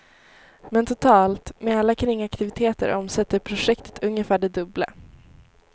Men totalt, med alla kringaktiviteter omsätter projektet ungefär det dubbla.